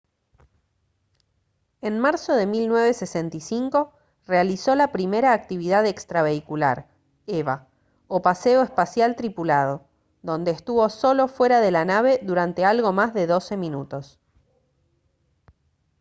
en marzo de 1965 realizó la primera actividad extravehicular eva o paseo espacial tripulado donde estuvo solo fuera de la nave durante algo más de doce minutos